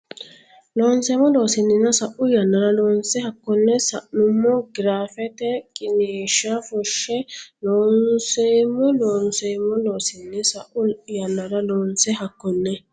Loonseemmo Loossinanni sa u yannara loonse hakkonne sa nummoha giraafete qiniishsha fushshe Loonseemmo Loonseemmo Loossinanni sa u yannara loonse hakkonne.